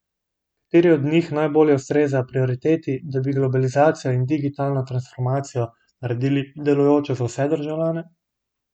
Kateri od njih najbolje ustreza prioriteti, da bi globalizacijo in digitalno transformacijo naredili delujočo za vse državljane?